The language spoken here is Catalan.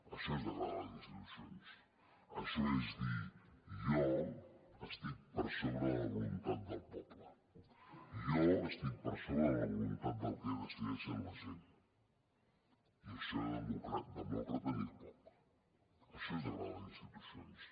això és degradar les institucions això és dir jo estic per sobre de la voluntat del poble jo estic per sobre de la voluntat del que decideix la gent i en això de demòcrata n’hi ha poc això és degradar les institucions